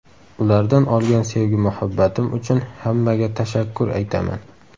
Ulardan olgan sevgi-muhabbatim uchun hammaga tashakkur aytaman.